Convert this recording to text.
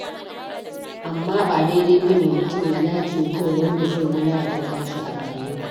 Amma ba daidai ba ne mutum ya nace gun wanda zai wulƙanta shi a rayuwa.